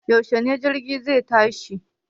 Yaushe jirgin zai tashi?